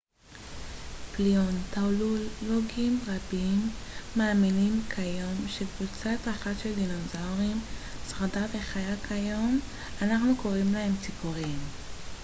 פליאונתולוגים רבים מאמינים כיום שקבוצה אחת של דינוזאורים שרדה וחיה כיום אנחנו קוראים להם ציפורים